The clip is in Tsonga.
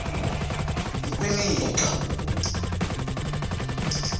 nkwinika